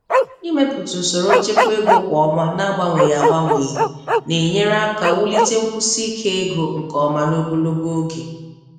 Ịmepụta usoro nchekwa ego kwa ọnwa na-agbanweghị agbanweghị na-enyere aka wulite nkwụsike ego nke ọma n'ogologo oge.